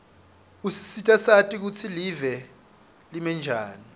usisita sati kutsi live limenjani